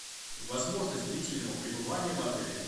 возможность длительного пребывания в отеле